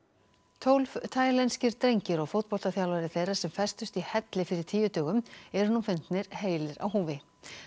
tólf taílenskir drengir og fótboltaþjálfari þeirra sem festust í helli fyrir tíu dögum eru nú fundnir heilir á húfi